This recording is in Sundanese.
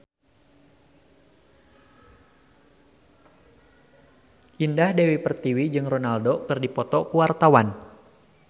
Indah Dewi Pertiwi jeung Ronaldo keur dipoto ku wartawan